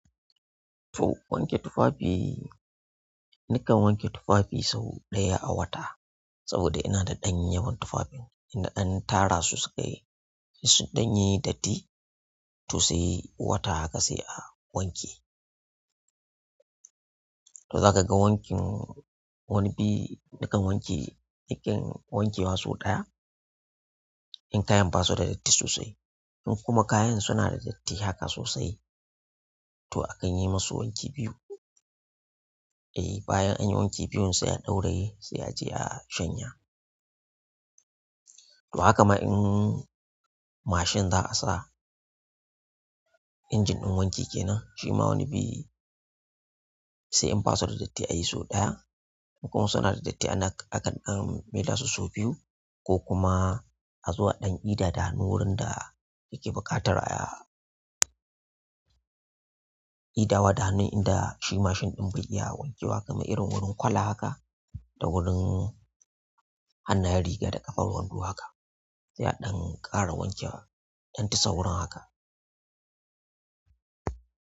To wanke tufafi nikan wanke tufafi sau ɗaya a wata. Saboda ina da ɗan yawan tufafin inna dan tara su sukai yi, sun danyi da datti sosai. Wata haka sai a wanke. To za ka ga wankin wani bi, nikan wanke, nikin wanke masu ɗaya in kayan ba su da datti sosai. In kuma kayan suna da datti haka sosai to a kan yi musu wanki biyu. Eh bayan an yi wanki biyun sai a dauraye sai a je a shanya. To haka ma in mashin za a sa, injin ɗin wanki kenan shima wani bi sai in ba su da datti a yi so ɗaya. In kuma suna da datti ana, akan dan maida su sau biyu ko kuma a zo a ɗan idada hannu wurin da yake buƙatar a idawa da hannun inda shi mashin ɗin bai iya wanke wa kamar irin wurin kwala haka da wurin hannayen riga da ƙafar wando haka. Sai a ɗan ƙara wanke ɗan tisa wurin haka.